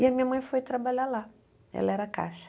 E a minha mãe foi trabalhar lá, ela era caixa.